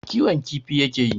kiwon kifi ya ke yi.